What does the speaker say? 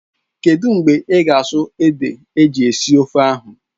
Kedụ mgbe ị ga-asụ ede eji esi ofe ahụ?